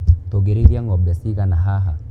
Tũngĩrĩithia ngombe cigana haha.